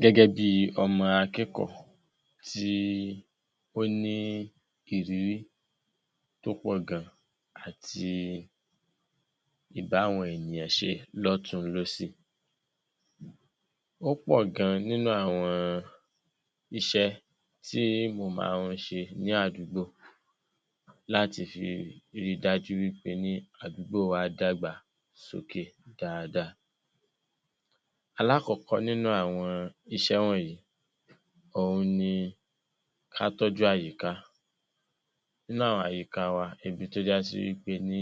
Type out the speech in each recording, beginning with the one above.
Gẹ́gẹ́ bíi ọmọ akẹ́kọ̀ọ́ tí ó ní ìrírí tó pọ̀ gan àti ìbáwọn-ènìyàn-ṣe lọ́tùn-ún lósì, ó pọ̀ gan nínú àwọn iṣẹ́ tí mò máa ń ṣe ní àdúgbò láti fi rí i dájú wí pé ní àdúgbò wa dàgbà sókè dáadáa. Alákọ̀ọ́kọ́ nínú àwọn iṣẹ́ wọ̀nyí, òun ni ká tọ́jú àyíká. Nínú àwọn àyíká wa, ibi tó já sí wí pe ní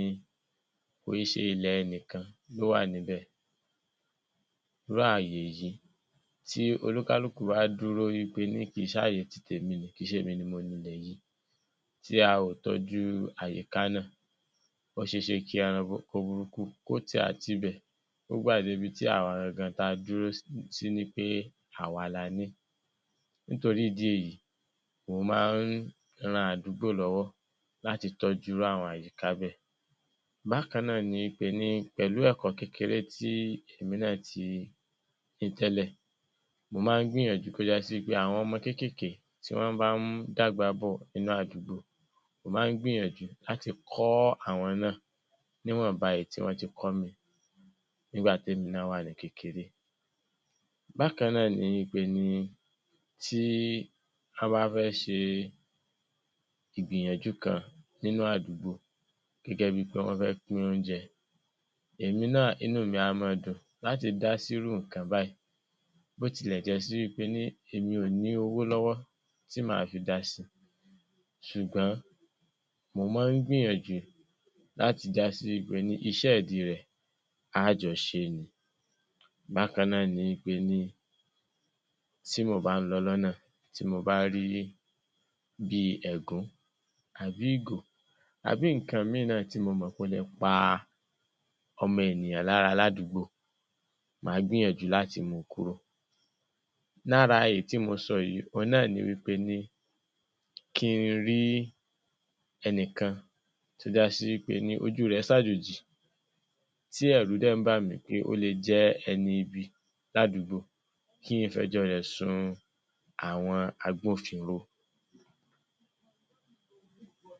kò é ṣe ilẹ̀ ẹnìkan ló wà níbẹ̀. Irú ààyè yìí, tí olúkálùkù bá dúró wí pe ní kì í ṣààyè ti tèmi nì ín, kì í ṣèmi ni mo nilẹ̀ yìí, tí a ò tọ́jú àyíká náà, ó ṣe é ṣe kí ẹranko burúkú kó ti àtibẹ̀ kó gbà dé ibi tí àwa gangan tá a dúró sí ní pé àwa la ní. Nítorí ìdí èyí, mò máa ń ran àdúgbò lọ́wọ́ láti tọ́jú irú àwọn àyíká bẹ́ẹ̀. Bákan náà ni wí pe ní pẹ̀lú ẹ̀kọ́ kékeré ti èmi náà ti ní tẹ́lẹ̀, mo máa ń gbìyànjú kó já sí pé àwọn ọmọ kékèké tí wọ́n bá ń dàgbà bọ̀ nínú àdúgbò, mò máa ń gbìyànjú láti kọ́ àwọn náà níwọ̀nba èyí tí wọ́n ti kọ́ mi nígbà témi náà wà ní kékeré. Bákan náà ni wí pe ní tí án bá fẹ́ ṣe ìgbìyànjú kan nínú àdúgbò, gẹ́gẹ́ bíi pé wọ́n fẹ́ pín oúnjẹ, èmi náà, inú mi a máa dùn láti dá sírú nǹkan báyìí. Bí ó tilẹ̀ já sí wí pe ní èmi ò ní owó lọ́wọ́ tí màá fi dá si, ṣùgbọ́n mò máa ń gbìyànjú láti dá sí wí pe ní iṣẹ́ ìdí rẹ̀, a á jọ ṣé ni. Bákan náà ni wí pe ní tí mò bá ń lọ lọ́nà, tí mo bá rí bíi ẹ̀gún àbí ìgò, àbí nǹkan míì náà tí mo mọ̀ pé ó le pa ọmọ ènìyàn lára ládùúgbò, màá gbìyànjú láti mú u kúrò. Lára èyí tí mo sọ yìí, òun náà ni wí pe ní kí n rí ẹnìkan tó já sí wí pe ní ojú rẹ̀ sàjòjì, tí ẹ̀rù dẹ̀ ń bà mí pé ó le jẹ́ ẹni ibi ládùúgbò kí n fẹjọ́ rẹ̀ sun àwọn agbófinró.